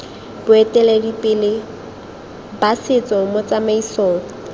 boeteledipele ba setso mo tsamaisong